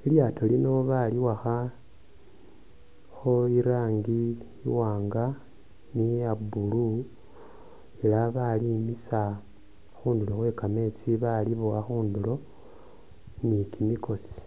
lilyaato lino baliwakhakho i'rangi iwaanga ni iya blue ela balimiisa khundulo khwe kameetsi balibowa khundulo ni kimikosi.